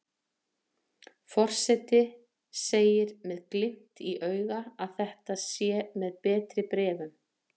Forseti segir með glimt í auga að þetta sé með betri bréfum.